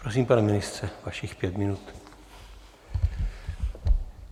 Prosím, pane ministře, vašich pět minut.